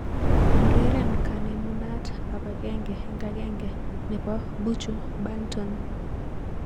Ureren kanemunat ab agenge eng agenge nebo Buju Banton